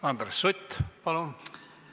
Andres Sutt, palun!